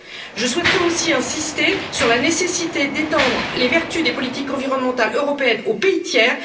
Je souhaiterais aussi insister sur la nécessité d'étendre les vertus des politiques environnementales européennes aux pays tiers.